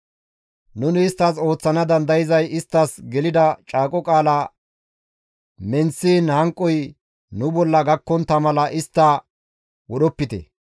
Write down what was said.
Nuni isttas ooththana dandayzay isttas gelida caaqo qaalaa menththiin hanqoy nu bolla gakkontta mala istta wodhopite.